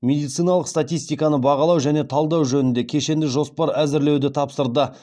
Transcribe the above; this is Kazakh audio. медициналық статистиканы бағалау және талдау жөнінде кешенді жоспар әзірлеуді тапсырды